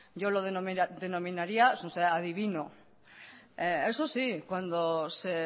yo lo denominaría adivino eso sí cuando se